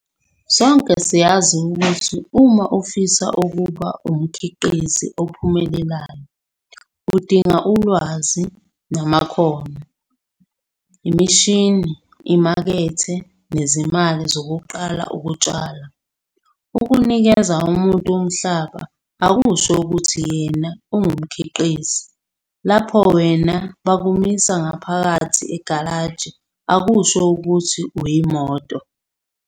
Sonke siyazi ukuthi uma ufisa ukuba umkhiqizi ophumelelayo, udinga ulwazi namakhono, imishini, imakethe, nezimali zokuqala ukutshala. Ukunikeza umuntu umhlaba akusho ukuthi yena ungumkhiqizi - lapho wena bakumisa ngaphakathi kwegalaji akusho ukuthi uyimoto!